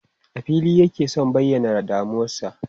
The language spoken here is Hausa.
A fili yake sun bayyana damuwarsu.